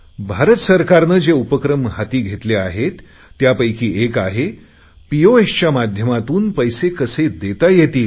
भारत सरकारने जे उपक्रम हाती घेतले आहे त्यापैकी एक आहे पीओएसच्या माध्यमातून पैसे कसे देता येतील